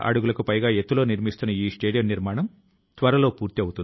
ప్రతి కొత్త ప్రారంభం మన సామర్థ్యాన్ని గుర్తించే అవకాశాన్ని తెస్తుంది